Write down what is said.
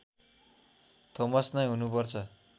Thomas नै हुनैपर्छ